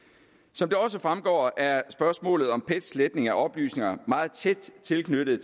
som det også fremgår er spørgsmålet om pets sletning af oplysninger meget tæt tilknyttet